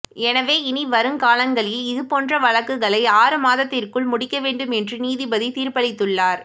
எனவே இனி வரும் காலங்களில் இது போன்ற வழக்குகளை ஆறு மாதத்திற்குள் முடிக்கவேண்டும் என்று நீதிபதி தீர்ப்பளித்துள்ளார்